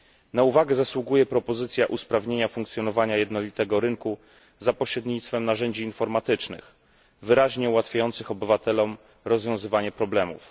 Na uwagę zasługuje propozycja usprawnienia funkcjonowania jednolitego rynku za pośrednictwem narzędzi informatycznych, wyraźnie ułatwiających obywatelom rozwiązywanie problemów.